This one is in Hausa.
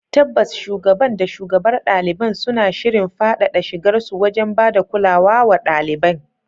Tabbas, Shugaban da shugabar ɗaliban suna shirin faɗaɗa shigarsu wajen ba da kulawa wa ɗaliban.